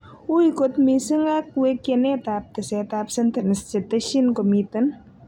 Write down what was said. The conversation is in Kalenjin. Ui kot missing ag wekienetap tesetap sentence che tesien komiten.